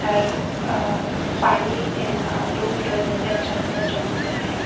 पर अह पानी अह धूप की वजह से अच्छा खासा चमक रहा है।